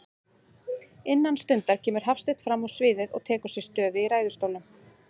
Innan stundar kemur Hafsteinn frammá sviðið og tekur sér stöðu í ræðustólnum.